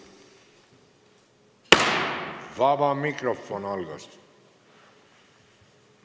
Vaba mikrofon on avatud.